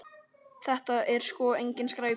Þetta er sko engin skræpa.